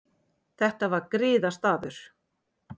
Þetta var griðastaður.